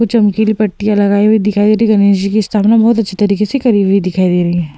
कुछ चमकीली पट्टियां लगाई हुई दिखाई दे रही है। गणेश जी की स्थापना बहुत अच्छी तरीके से करी हुई दिखाई दे रही हैं।